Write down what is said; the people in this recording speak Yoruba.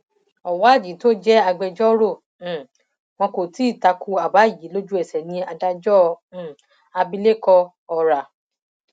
ọwádìí tó jẹ agbẹjọrò um wọn kò ti takò àbá yìí lójú ẹsẹ ní adájọ um abilékọ ọrà